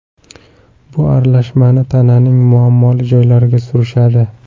Bu aralashmani tananing muammoli joylariga surishadi.